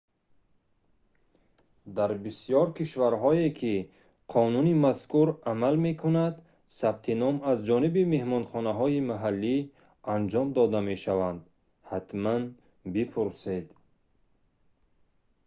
дар бисёр кишварҳое ки қонуни мазкур амал мекунад сабти ном аз ҷониби меҳмонхонаҳои маҳаллӣ анҷом дода мешаванд ҳатман бипурсед